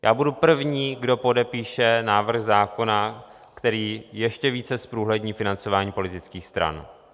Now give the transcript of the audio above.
Já budu první, kdo podepíše návrh zákona, který ještě více zprůhlední financování politických stran.